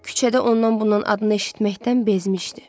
Küçədə ondan-bundan adını eşitməkdən bezmişdi.